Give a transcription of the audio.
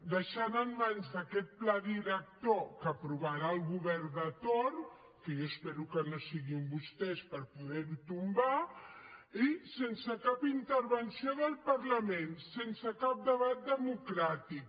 deixant en mans d’aquest pla director que aprovarà el govern de torn que jo espero que no siguin vostès per poder ho tombar i sense cap intervenció del parlament sense cap debat democràtic